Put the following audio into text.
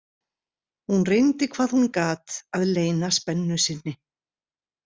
Hún reyndi hvað hún gat að leyna spennu sinni.